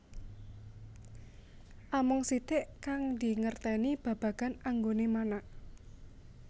Amung sitik kang dingertèni babagan anggoné manak